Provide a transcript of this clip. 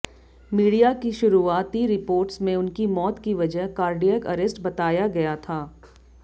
media की शुरुआती reports में उनकी मौत की वजह कार्डियक अरेस्ट बताया गया था